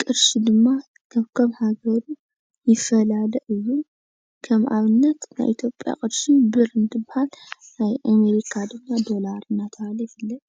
ቅርሺ ድማ ከካብ ሃገሩ ይፈላለ እዩ፡፡ ከም ኣብነት ናይ ኢትዮጵያ ቅርሺ ብር እንትበሃል ናይ ኣሜሪካ ድማ ዶላር እናተባህለ ይፍለጥ፡፡